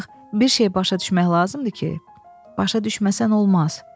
Ancaq bir şey başa düşmək lazımdır ki, başa düşməsən olmaz.